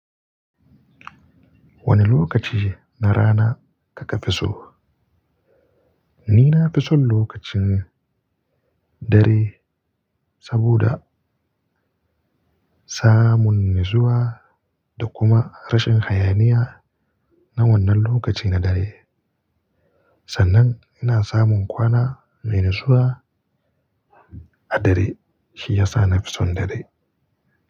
Wane lokaci na rana kake fiso? Nina fi son lokacin dare saboda samun natsuwa da kuma rashin hayaniya na wannan lokaci na dare. Sannan ina samun kwana mai natsuwa A dare shi yasa na fi son dare.